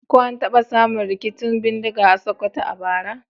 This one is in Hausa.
Ko an taba samun rikicin bindiga a Sokoto a bara?